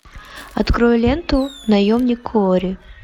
открой ленту наемник куорри